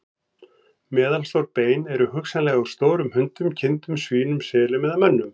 Meðalstór bein eru hugsanlega úr stórum hundum, kindum, svínum, selum eða mönnum.